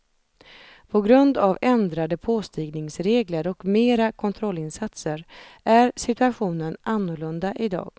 På grund av ändrade påstigningsregler och mera kontrollinsatser är situationen annorlunda idag.